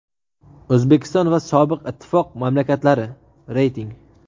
O‘zbekiston va sobiq ittifoq mamlakatlari (reyting).